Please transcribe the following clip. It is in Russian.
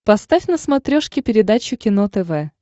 поставь на смотрешке передачу кино тв